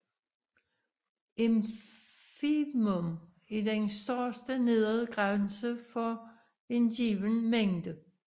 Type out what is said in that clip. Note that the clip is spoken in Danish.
Infimum er den største nedre grænse for en given mængde